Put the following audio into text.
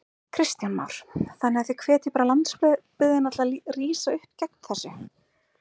Kristján Már: Þannig að þið hvetjið bara landsbyggðina til að rísa upp gegn þessu?